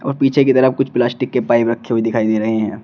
और पीछे की तरफ कुछ प्लास्टिक के पाइप रखे हुए दिखाई दे रहे हैं।